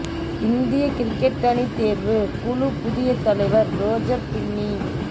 இந்திய கிரிக்கெட் அணி தேர்வு குழு புதிய தலைவர் ரோஜர் பின்னி